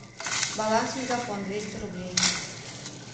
баланс мегафон двести рублей